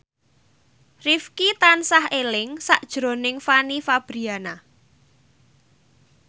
Rifqi tansah eling sakjroning Fanny Fabriana